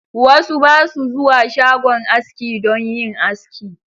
Wasu basu zuwa shagon aski don yin aski.